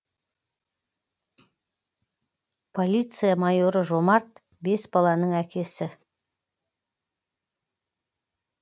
полиция майоры жомарт бес баланың әкесі